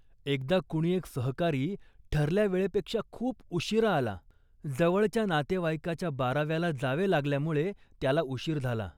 एकदा कुणी एक सहकारी ठरल्या वेळेपेक्षा खूप उशिरा आला. जवळच्या नातेवाइकाच्या बाराव्याला जावे लागल्यामुळे त्याला उशीर झाला